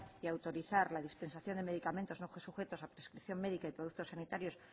y autorizar la dispensación de medicamentos no sujetos a prescripción médica y productos sanitarios